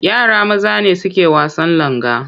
Yara maza ne suke wasan langa.